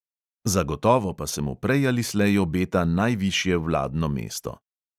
Zagotovo pa se mu prej ali slej obeta najvišje vladno mesto.